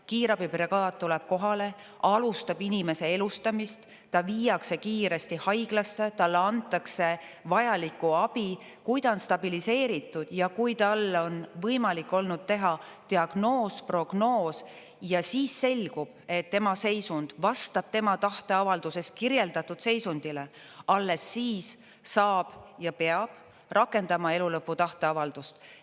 Kiirabibrigaad tuleb kohale, alustab inimese elustamist, ta viiakse kiiresti haiglasse, talle antakse vajalikku abi, kui ta on stabiliseeritud ja kui talle on võimalik olnud teha diagnoos, prognoos, ja siis selgub, et tema seisund vastab tema tahteavalduses kirjeldatud seisundile, alles siis saab ja peab rakendama elulõpu tahteavaldust.